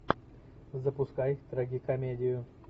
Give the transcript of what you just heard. запускай трагикомедию